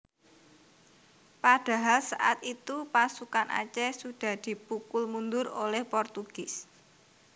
Padahal saat itu pasukan Aceh sudah dipukul mundur oleh Portugis